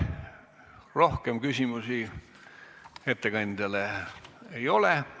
Rohkem küsimusi ettekandjale ei ole.